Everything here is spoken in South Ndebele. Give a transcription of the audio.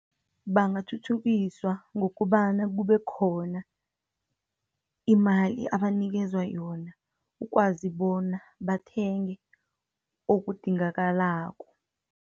Bangathuthukiswa, ngokobana kube khona imali abanikezwa yona, ukwazi bona bathenge okudingakalako.